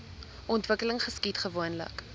ontwikkeling geskied gewoonlik